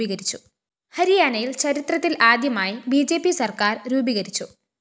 ഹരിയാനയില്‍ ചരിത്രത്തില്‍ ആദ്യമായി B J P സര്‍ക്കാര്‍ രൂപീകരിച്ചു